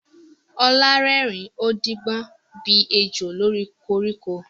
Olá rẹ́rìn-ín, ó ń díbọ́n bí ejò lórí koríko.